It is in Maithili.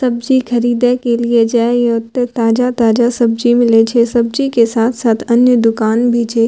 सब्जी ख़रीदे के लिए जाइ ओते ताज़ा-ताज़ा सब्जी मिलय छे सब्जी के साथ-साथ अन्य दुकान भी छे।